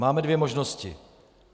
Máme dvě možnosti.